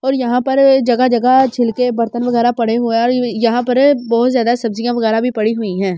और यहाँ पर जगा जगा छिलके बर्तन वगैरा पड़े हुए हैं और यहाँ पर बहुत ज़्यादा सब्ज़ीया वगैरा भी पड़ी हुई हैं।